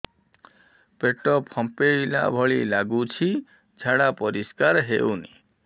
ପେଟ ଫମ୍ପେଇଲା ଭଳି ଲାଗୁଛି ଝାଡା ପରିସ୍କାର ହେଉନି